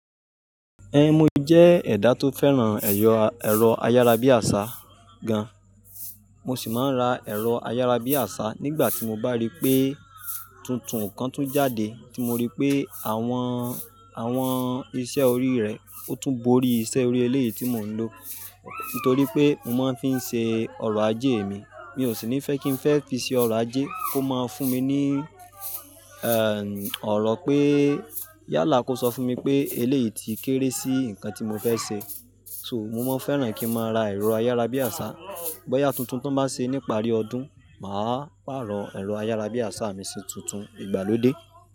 Ẹn, mo jẹ́ ẹ̀dá tó fẹ́ràn ẹ̀rọ ayárabíàṣá gan. Mo sì máa ń ra ẹ̀rọ ayárabíàṣá nígbà tí mo bá rí pé tuntun kan tún jáde tí mo rí pé àwọn, àwọn iṣẹ́ orí rẹ̀, ó tún bóri iṣẹ́ orí eléyìí tí mò ń lò. Nítorí pé mo máa ń fi ń ṣe ọrọ̀ ajé mi, mi ò sì ní fẹ́ kí n fẹ́ fi ṣe ọrọ̀ ajé kó máa fún mi ní, ẹ́ èn, ọ̀rọ̀ pé, yálà kó sọ fún mi pé eléyìí ti kéré sí nǹkan tí mo fẹ́ ṣe. So, mo máa ń fẹ́ràn kí máa ra ẹ̀rọ ayárabíàṣá. Bọ́ya tuntun tọ́n bá ṣe ní pàrí ọdún, màá pààrọ̀ ẹ̀rọ ayárabíàṣá mi sí tuntun ìgbàlódé.